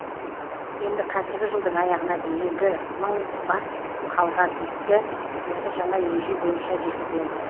енді қазіргі жылдың аяғына дейінгі мың бас қалған итті осы жаңа ереже бойынша жүргіземіз